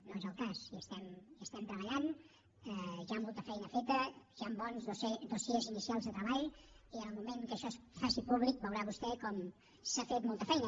no és el cas hi estem treballant hi ha molta feina feta hi han bons dossiers inicials de treball i en el moment que això es faci públic veurà vostè com s’ha fet molta feina